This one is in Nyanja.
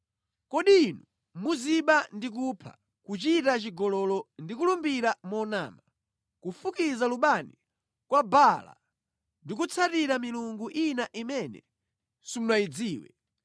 “Kodi inu muziba ndi kupha, kuchita chigololo ndi kulumbira monama, kufukiza lubani kwa Baala ndi kutsatira milungu ina imene simunayidziwe,